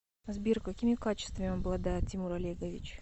сбер какими качествами обладает тимур олегович